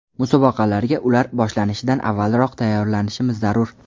Musobaqalarga ular boshlanishidan avvalroq tayyorlanishimiz zarur.